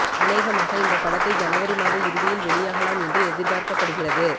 அனேகமாக இந்த படத்தை ஜனவரி மாத இறுதியில் வெளியாகலாம் என்று எதிர்பார்க்கப்படுகிறது